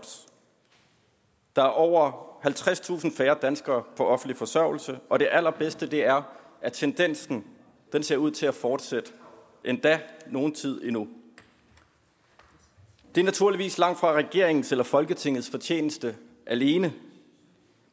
der er over halvtredstusind færre danskere på offentlig forsørgelse og det allerbedste er at tendensen endda ser ud til at fortsætte nogen tid endnu det er naturligvis langt fra regeringens eller folketingets fortjeneste alene